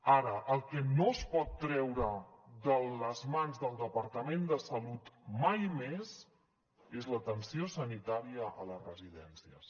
ara el que no es pot treure de les mans del departament de salut mai més és l’atenció sanitària a les residències